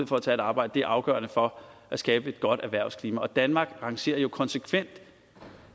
for at tage et arbejde er afgørende for at skabe et godt erhvervsklima og danmark rangerer jo konsekvent